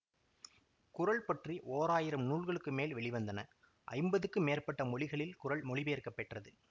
குறள் பற்றி ஓராயிரம் நூல்களுக்கு மேல் வெளிவந்தன ஐம்பதுக்கு மேற்பட்ட மொழிகளில் குறள் மொழிபெயர்க்கப் பெற்றது